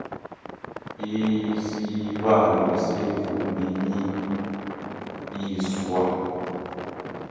isibawo sivunywe yisars